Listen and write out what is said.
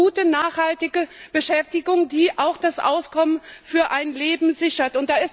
Wir brauchen gute, nachhaltige Beschäftigung, die auch das Auskommen für ein Leben sichert.